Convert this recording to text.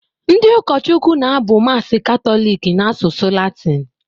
Ndị ụkọchukwu na-abụ Mass Katọlik n’asụsụ Latịn